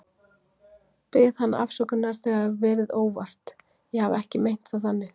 Bið hana afsökunar, þetta verið óvart, ég hafi ekki meint það þannig.